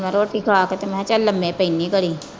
ਹੁਣ ਰੋਟੀ ਖਾ ਕੇ ਤੇ ਮੈਂ ਕਿਹਾ ਚੱਲ ਲੰਮੇ ਪੈਨੀ ਆ ਘੜੀ।